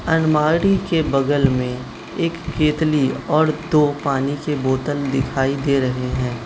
अलमारी के बगल में एक केतली और दो पानी की बोतल दिखाई दे रहे हैं।